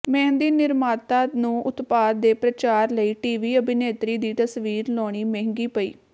ਮਹਿੰਦੀ ਨਿਰਮਾਤਾ ਨੂੰ ਉਤਪਾਦ ਦੇ ਪ੍ਰਚਾਰ ਲਈ ਟੀਵੀ ਅਭਿਨੇਤਰੀ ਦੀ ਤਸਵੀਰ ਲਾਉਣੀ ਮਹਿੰਗੀ ਪਈ